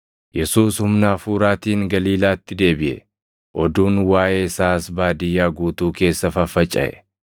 Yesuus humna Hafuuraatiin Galiilaatti deebiʼe; oduun waaʼee isaas baadiyyaa guutuu keessa faffacaʼe.